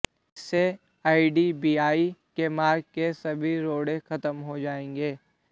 इससे आईडीबीआई के मार्ग के सभी रोड़े खत्म हो जाएंगे